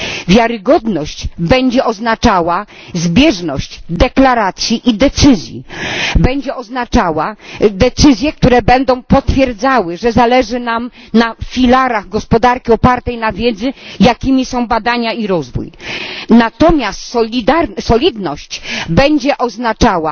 Wiarygodność będzie oznaczała zbieżność deklaracji i decyzji, będzie oznaczała decyzje, które będą potwierdzały, że zależy nam na filarach gospodarki opartej na wiedzy, jakimi są badania i rozwój. Natomiast solidność będzie oznaczała,